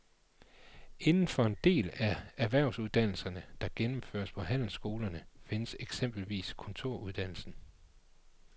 Inden for den del af erhvervsuddannelserne, der gennemføres på handelsskolerne, findes eksempelvis kontoruddannelsen.